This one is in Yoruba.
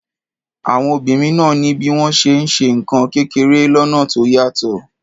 Àwọn obìnrin náà ní bí wọ́n ṣe ń ṣe nǹkan kékeré lọ́nà tó yàtọ̀.